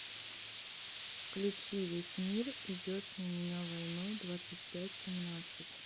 включи весь мир идет на меня войной двадцать пять семнадца ь